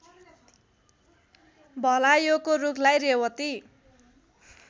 भलायोको रूखलाई रेवती